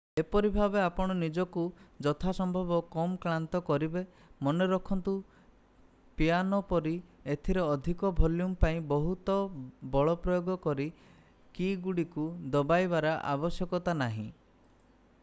ଏପରି ଭାବେ ଆପଣ ନିଜକୁ ଯଥାସମ୍ଭବ କମ କ୍ଲାନ୍ତ କରିବେ ମନେରଖନ୍ତୁ ପିଆନୋ ପରି ଏଥିରେ ଅଧିକ ଭଲ୍ୟୁମ୍ ପାଇଁ ବହୁତ ବଳ ପ୍ରୟୋଗ କରି କୀ'ଗୁଡ଼ିକୁ ଦବାଇବାର ଆବଶ୍ୟକତା ନାହିଁ